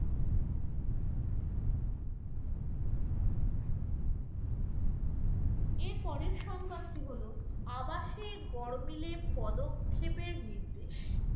এর পরের সংবাদটি হলো, আবাসে গরমিলে পদক্ষেপের নির্দেশ।